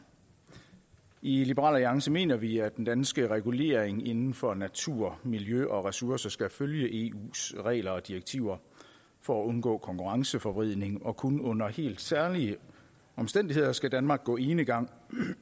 i liberal alliance mener vi at den danske regulering inden for natur miljø og ressourcer skal følge eus regler og direktiver for at undgå konkurrenceforvridning og kun under helt særlige omstændigheder skal danmark gå enegang